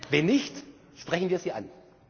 Wenn nicht, sprechen wir sie